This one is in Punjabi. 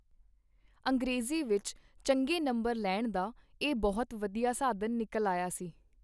ਅੰਗਰੇਜ਼ੀ ਵਿਚ ਚੰਗੇ ਨੰਬਰ ਲੈਣ ਦਾ ਇਹ ਬਹੁਤ ਵਧੀਆ ਸਾਧਨ ਨਿਕਲ ਆਇਆ ਸੀ.